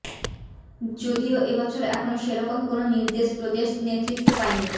যদিও এবছর এখনও সেরকম কোনও নির্দেশ প্রদেশ নেতৃত্ব পায়নি